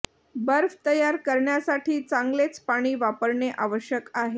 बर्फ तयार करण्यासाठी चांगलेच पाणी वापरणे आवश्यक आहे